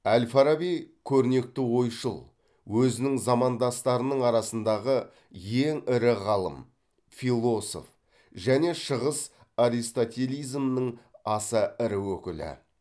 әл фараби көрнекті ойшыл өзінің замандастарының арасындағы ең ірі ғалым философ және шығыс аристотелизмінің аса ірі өкілі